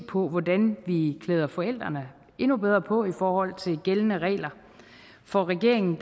på hvordan vi klæder forældrene endnu bedre på i forhold til de gældende regler for regeringen